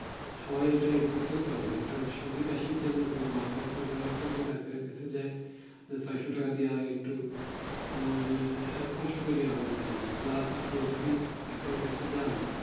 সবাই ইটা effort করতে পারে না একটা সর্দি কাশির জন্য কিংবা মাথা বেথ জ্বরের জন্য ডাক্তার এর কাছে যাই নিয়ে পাঁচশো টাকা দিয়া একটু ওই কষ্ট করি আমাদের জন্য plus আপনি যদি ডাক্তার এর কাছে যান